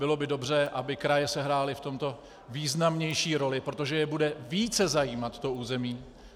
Bylo by dobře, aby kraje sehrály v tomto významnější roli, protože je bude více zajímat to území.